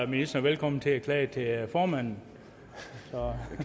ministeren velkommen til at klage til formanden